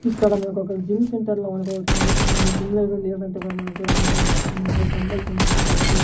ఇక్కడ మనకు ఒక జిమ్ సెంటర్ లా మనకొకటి కనిపిస్తుంది. ఈ జిమ్ లో ఎవరు లేనట్టు గా మనగుడా మనకనిపిస్తుంది. ఇక్కడ డంబుల్స్ ఉన్నాయి అలాగే --